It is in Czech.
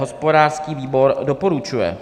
Hospodářský výbor doporučuje.